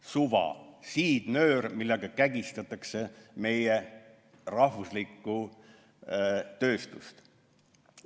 See on siidnöör, millega kägistatakse meie rahvuslikku tööstust.